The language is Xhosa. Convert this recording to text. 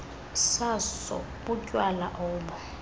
saso butywala obo